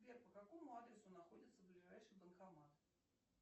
сбер по какому адресу находится ближайший банкомат